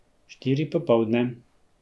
Štiri popoldne.